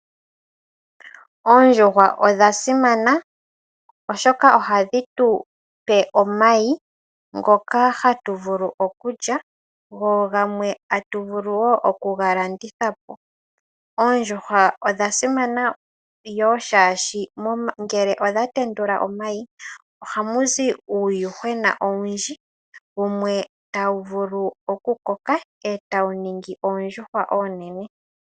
Oondjuhwa odha simana oshoka ohadhi tupe omayi ngoka hatu vulu okulya go gamwe atu vulu wo oku ga landitha po. Oondjuhwa odha simana yo shashi ngele odha tendula omayi, ohamu zi uuyuhwena owundji, wumwe tawu vulu oku koka eta wu ningi oondjuhwa onene.